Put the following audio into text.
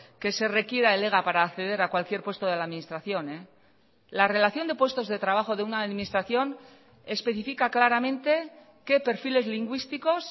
que se requiera el ega para acceder a cualquier puesto de la administración la relación de puestos de trabajo de una administración especifica claramente qué perfiles lingüísticos